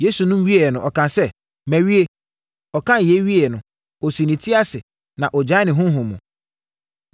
Yesu nom wieeɛ no, ɔkaa sɛ, “Mawie!” Ɔkaa yei wieeɛ no, ɔsii ne ti ase na ɔgyaee ne honhom mu.